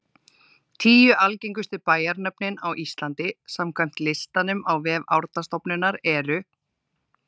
Tíu algengustu bæjarnöfnin á Íslandi samkvæmt listanum á vef Árnastofnunar eru: